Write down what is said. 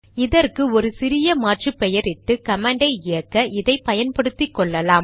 இதற்கு ஒரு சிறிய மாற்று பெயரிட்டு கமாண்டை இயக்க இதை பயன்படுத்திக்கொள்ளலாம்